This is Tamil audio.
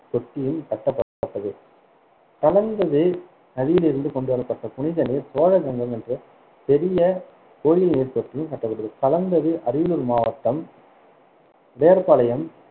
தொட்டியும் கட்டப்பட்டது கலந்தது நதியிலிருந்து கொண்டுவரப்பட்ட புனிதநீர் சோழ கங்கம் என்ற பெரிய கோயில் நீர் தொட்டி கட்டப்பட்டது கலந்தது அரியலூர் மாவட்டம் உடையார் பாளையம்